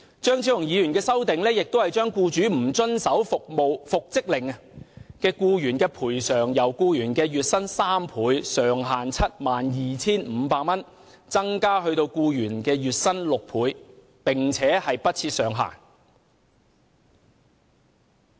張超雄議員的修正案亦將僱主不遵守復職令的僱員賠償，由僱員月薪的3倍，上限 72,500 元，增至僱員月薪的6倍，並不設上限。